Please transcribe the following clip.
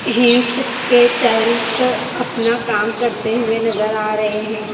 Hills के चाइल्स अपना काम करते हुए नजर आ रहें हैं।